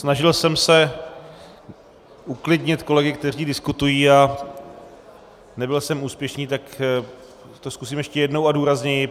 Snažil jsem se uklidnit kolegy, kteří diskutují, a nebyl jsem úspěšný, tak to zkusím ještě jednou a důrazněji.